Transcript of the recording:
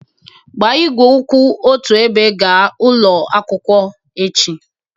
Gbaa igwe kwụ otu ebe gaa ụlọ akwụkwọ echi